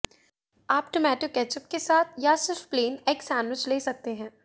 आप tomato ketchup के साथ या सिर्फ प्लेन एग सैंडविच ले सकते हैं